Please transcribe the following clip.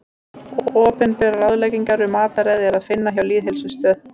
Opinberar ráðleggingar um mataræði er að finna hjá Lýðheilsustöð.